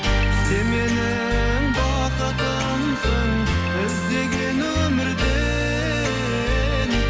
сен менің бақытымсың іздеген өмірде